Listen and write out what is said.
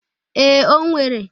Ee, o nwere.